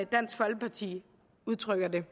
dansk folkeparti udtrykker det